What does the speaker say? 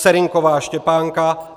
Serynková Štěpánka